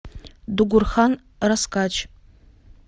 дугурхан раскач